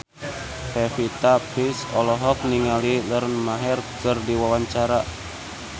Pevita Pearce olohok ningali Lauren Maher keur diwawancara